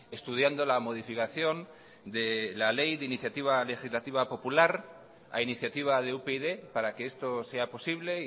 estudiando la modificación de la ley de iniciativa legislativa popular a iniciativa de upyd para que esto sea posible